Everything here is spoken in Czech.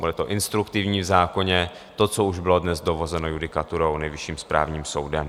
Bude to instruktivní v zákoně, to, co už bylo dnes dovozeno judikaturou Nejvyšším správním soudem.